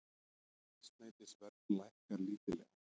Eldsneytisverð lækkar lítillega